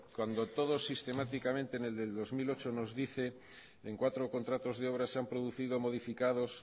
cuando todo sistemáticamente en el del dos mil ocho nos dice en cuatro contratos de obras se han producido modificados